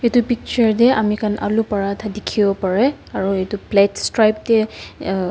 itu picture tey ami han aloo paratha dikhiwo pareh aro itu plate stripe tey uh--